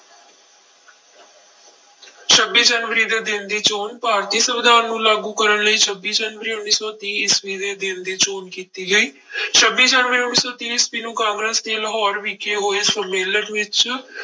ਛੱਬੀ ਜਨਵਰੀ ਦੇ ਦਿਨ ਦੀ ਚੌਣ ਭਾਰਤੀ ਸੰਵਿਧਾਨ ਨੂੰ ਲਾਗੂ ਕਰਨ ਲਈ ਛੱਬੀ ਜਨਵਰੀ ਉੱਨੀ ਸੌ ਤੀਹ ਈਸਵੀ ਦੇ ਦਿਨ ਦੀ ਚੋਣ ਕੀਤੀ ਗਈ ਛੱਬੀ ਜਨਵਰੀ ਉੱਨੀ ਸੌ ਤੀਹ ਈਸਵੀ ਨੂੰ ਕਾਂਗਰਸ਼ ਦੇ ਲਾਹੌਰ ਵਿਖੇ ਹੋਏ ਸੰਮੇਲਨ ਵਿੱਚ